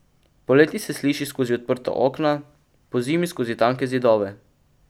Poleti se sliši skozi odprta okna, pozimi skozi tanke zidove.